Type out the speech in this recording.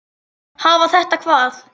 Hafa þetta hvað?